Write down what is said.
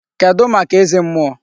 Kedụ maka eze mmụọ?